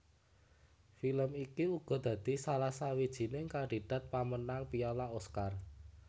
Film iki uga dadi salah sawijining kandidat pamenang piala Oscar